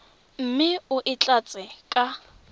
mme o e tlatse ka